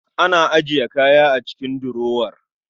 Ana ajiye kaya a cikin durower